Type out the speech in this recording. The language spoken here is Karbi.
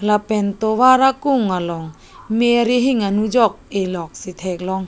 lapen tovar akung long me arihing anujok eh lok si thek long.